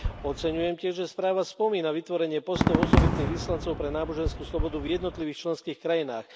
Oceňujem tiež, že správa spomína vytvorenie postov osobitných vyslancov pre náboženskú slobodu v jednotlivých členských krajinách.